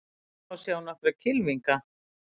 Hér má sjá nokkra kylfinga.